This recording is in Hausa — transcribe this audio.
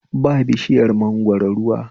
Ba bishiyar mangoro ruwa